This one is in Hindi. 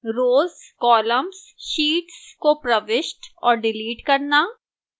rows columns sheets को प्रविष्ट और डिलीट करना